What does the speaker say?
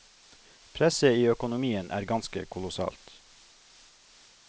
Presset i økonomien er ganske kolossalt.